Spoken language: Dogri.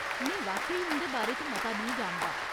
में वाकई उं'दे बारे च मता नेईं जानदा।